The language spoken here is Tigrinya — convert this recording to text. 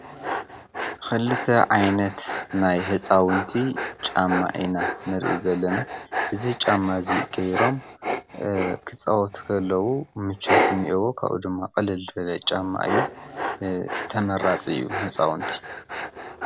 ኽልተ ዓይነት ናይ ሕፃውንቲ ጫማ ና ንርኢ ዘለና እዙ ጫማ እዙ ጌይሮም ኽፃዖ ትከለዉ ምቾትን የቦ ቓኡ ድማ ቕልልድለ ጫማ እዩ ተመራጽ እዩ ሕፃውንቲ።